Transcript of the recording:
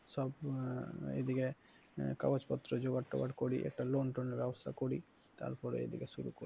সব এদিকে কাগজপত্র জোগার টোগার করি একটা loan টন এর ব্যবস্থা করি তারপরে এদিকে শুরু করছি।